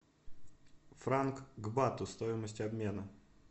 франк к бату стоимость обмена